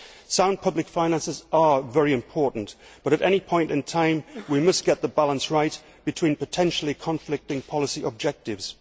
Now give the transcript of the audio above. Sound public finances are very important, but at any point in time we must get the balance right between potentially conflicting policy objectives.